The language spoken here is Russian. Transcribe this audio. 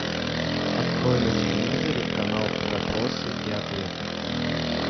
открой на телевизоре канал вопросы и ответы